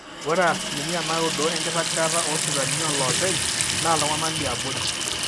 ore asilimia naaudo enkiragata oosipitalini ooloopeny naa iltung'anak liabori